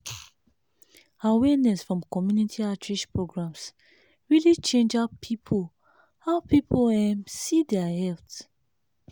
awareness from community outreach programs really change how people how people um see their health.